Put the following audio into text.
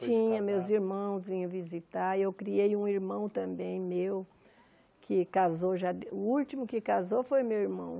Tinha, meus irmãos vinham visitar, eu criei um irmão também meu, que casou já, o último que casou foi meu irmão.